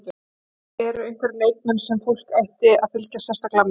En eru einhverjir leikmenn sem fólk ætti að fylgjast sérstaklega með?